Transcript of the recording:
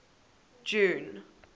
june